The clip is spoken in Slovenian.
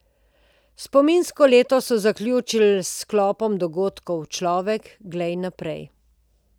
Spominsko leto so zaključili s sklopom dogodkov Človek, glej naprej.